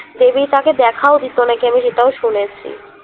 দেবী তাকে দেখাও দিতো নাকি আমি সেটাও শুনেছি